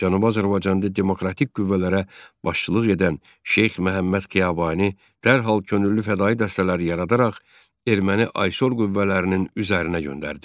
Cənubi Azərbaycanda demokratik qüvvələrə başçılıq edən Şeyx Məhəmməd Xiyabani dərhal könüllü fədaii dəstələr yaradaraq erməni aysor qüvvələrinin üzərinə göndərdi.